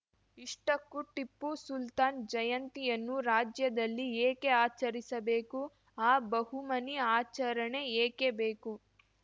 ಇಷ್ಟಕ್ಕೂ ಟಿಪ್ಪು ಸುಲ್ತಾನ್‌ ಜಯಂತಿಯನ್ನು ರಾಜ್ಯದಲ್ಲಿ ಏಕೆ ಆಚರಿಸಬೇಕು ಆ ಬಹುಮನಿ ಆಚರಣೆ ಏಕೆ ಬೇಕು